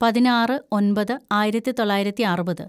പതിനാറ് ഒന്‍പത് ആയിരത്തിതൊള്ളായിരത്തി അറുപത്‌